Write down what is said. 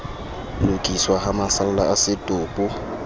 lokiswa ha masalla a setopo